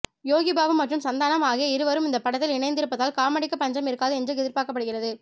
யோகி பாபு மற்றும் சந்தனம் ஆகிய இருவரும் இந்த படத்தில் இணைந்திருப்பதால் காமெடிக்கு பஞ்சம் இருக்காது என்று எதிர்பார்க்கப்படுகிறது